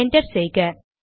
enter செய்க